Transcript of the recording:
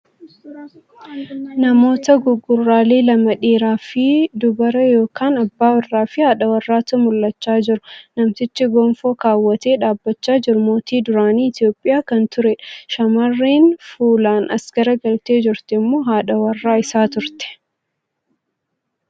Namoota gugurraalee lama dhiira fi dubara yookan abbaa warraa fi haadha warraatu mul'achaa jiru. Namtichi gonfoo kaawwatee dhaabachaa jiru mootii duraanii Itiyoophiyaa kan tureedha. Shamarreen fuulaan as garagartee jirtu immoo haadha warraa isaa turte.